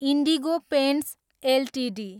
indigo paints Ltd